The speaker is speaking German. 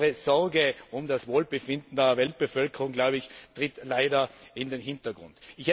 Ihre Sorge um das Wohlbefinden der Weltbevölkerung tritt leider in den Hintergrund.